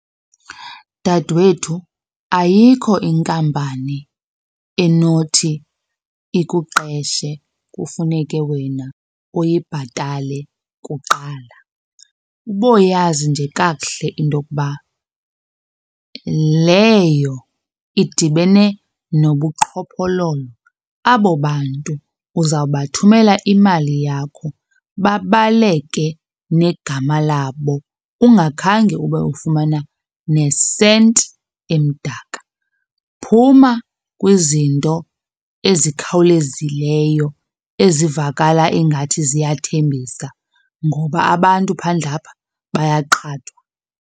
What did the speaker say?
Dadwethu, ayikho inkampani enothi ikuqeshe kufuneke wena uyibhatale kuqala. Uboyazi nje kakuhle into yokuba leyo idibene nobuqhophololo, abo bantu uzawubathumelela imali yakho babaleke negama labo ungakhange ube ufumana nesenti emdaka. Phuma kwizinto ezikhawulezileyo ezivakala ingathi ziyathembisa ngoba abantu phandle apha bayaqhathwa.